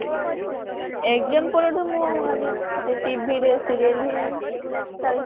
exam ପରଠୁ ମୁଁ ସେ TV ରେ serial ହିଁ ଚାଲିଛି ଆଉ